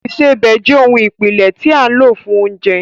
Ìsebẹ̀ jẹ́ ohun ìpìlẹ̀ tí a lò fún oúnjẹ